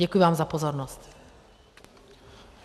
Děkuji vám za pozornost.